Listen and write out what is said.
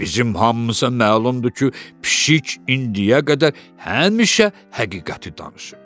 Bizim hamımıza məlumdur ki, pişik indiyə qədər həmişə həqiqəti danışıb.